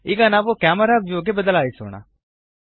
ಈಗ ನಾವು camera view ಗೆ ಬದಲಾಯಿಸೋಣ